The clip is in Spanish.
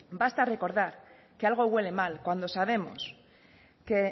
basta recordar que algo huele mal cuando sabemos que